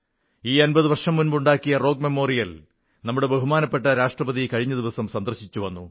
ഈ അമ്പതു വർഷം മുമ്പ് ഉണ്ടാക്കിയ സ്മാരകം നമ്മുടെ ബഹുമാനപ്പെട്ട രാഷ്ട്രപതി കഴിഞ്ഞ ദിവസം സന്ദർശിച്ചുവന്നു